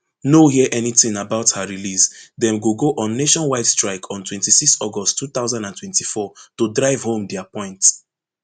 no hear anytin about her release dem go go on nationwide strike on twenty-six august two thousand and twenty-four to drive home dia point